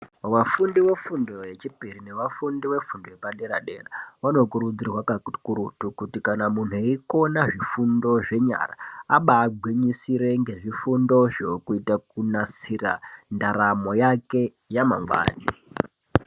Vafundi vefundo yechipiri nevafundi vefundo yepadera-dera , vanokurudzirwa kakurutu kuti kana muntu eikona zvifundo zvenyara, abaangwinyisire ngezvifundozvo, kuita kunasira ndaramo yake yamangwani.